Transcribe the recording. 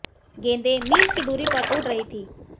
गेंदें मील की दूरी पर उड़ रही थीं